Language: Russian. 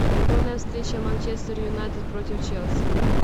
футбольная встреча манчестер юнайтед против челси